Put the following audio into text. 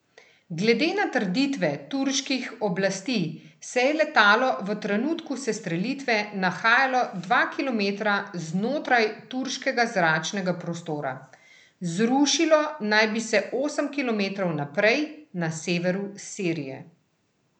Glede na trditve turških oblasti se je letalo v trenutku sestrelitve nahajalo dva kilometra znotraj turškega zračnega prostora, zrušilo naj bi se osem kilometrov naprej, na severu Sirije.